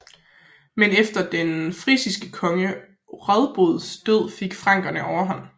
Men efter den frisiske konge Radbods død fik frankerne overhånd